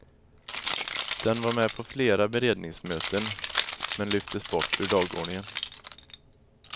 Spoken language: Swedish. Den var med på flera beredningsmöten, men lyftes bort ur dagordningen.